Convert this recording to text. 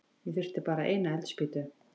Ég þurfti bara eina eldspýtu.